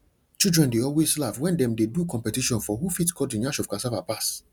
children dey always laugh wen dem dey do competition for who fit cut the nyash of cassava pass